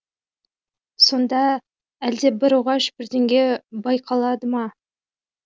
сонда әлде бір оғаш бірдеңе байқалмады ма